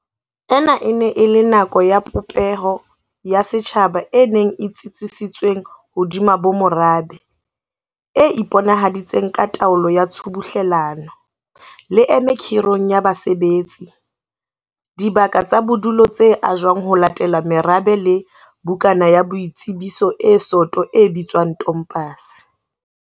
Ena e ne e le nako ya popeho ya setjhaba e neng e tsitsisitsweng hodima bomorabe, e iponahaditseng ka taolo ya tshubuhlelano, leeme khirong ya basebetsi, dibaka tsa bodulo tse ajwang ho latela merabe le bukana ya boitsebiso e soto e bitswang tompase.